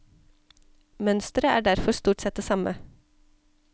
Mønstret er derfor stort sett det samme.